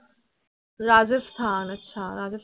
Rajasthan আচ্ছা